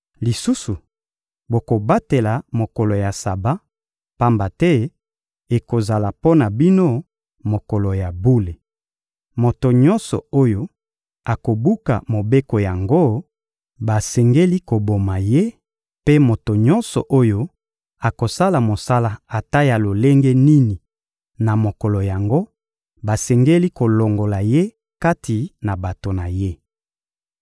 Lisusu, bokobatela mokolo ya Saba, pamba te ekozala mpo na bino mokolo ya bule. Moto nyonso oyo akobuka mobeko yango, basengeli koboma ye; mpe moto nyonso oyo akosala mosala ata ya lolenge nini na mokolo yango, basengeli kolongola ye kati na bato na ye.